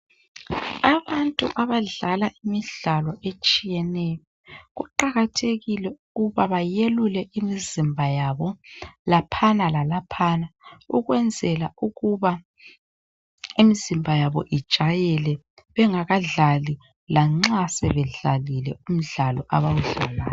Abantu abadlala imidlalo etshiyeneyo , kuqathekile ukuba bayelule imizimba yabo laphana lalaphana ukwenzela ukuba imizimba yabo ijayele bangakadlali lanxa sebedlalile umdlalo abawudlalayo